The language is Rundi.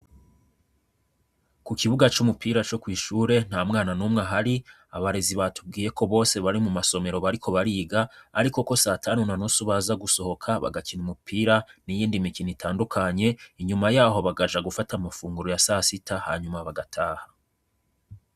Ku kibuga c’umupira co kw’ishure, ntamwana numwe ahari. Abarezi batubwiye ko bose bari mu masomero bariko bariga, ariko ko satanu na nusu baza gusohoka bagakina umupira n’iyindi mikino itandukanye, inyuma yaho bakaja gufata amafunguro ya sasita, hanyuma bagataha.